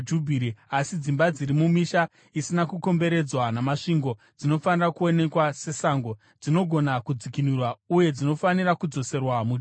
Asi dzimba dziri mumisha isina kukomberedzwa namasvingo dzinofanira kuonekwa sesango. Dzinogona kudzikinurwa uye dzinofanira kudzoserwa muJubhiri.